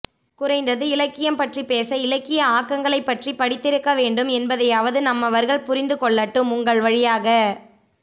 குறைந்தது இலக்கியம் பற்றிப் பேச இலக்கிய ஆக்கங்களைப் படித்திருக்கவேண்டும் என்பதையாவது நம்மவர்கள் புரிந்துகொள்ளட்டும் உங்கள் வழியாக